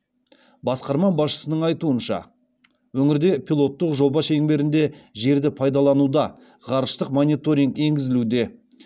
басқарма басшысының айтуынша өңірде пилоттық жоба шеңберінде жерді пайдалануда ғарыштық мониторинг енгізілуде